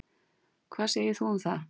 Hvað segir þú um það?